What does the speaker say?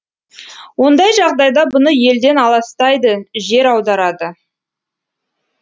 ондай жағдайда бұны елден аластайды жер аударады